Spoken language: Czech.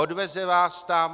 Odveze vás tam.